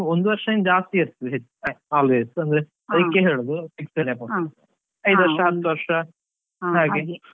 ಒಂದು ವರ್ಷ ಜಾಸ್ತಿ ಇರ್ತದೆ ಹೆಚ್ಚಾಗಿ always ಅಂದ್ರೆ ಅದಿಕ್ಕೆ ಹೇಳುದು fixed deposit ಅಂತ ಐದು ವರ್ಷ ವರ್ಷ ಹಾಗೆ.